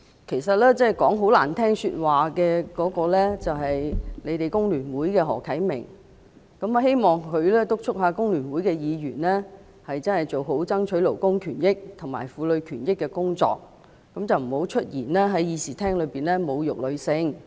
其實，把話說得很難聽的是她所屬的工聯會的何啟明議員，我希望她敦促工聯會議員做好爭取勞工權益和婦女權益的工作，不要在議事廳內出言侮辱女性。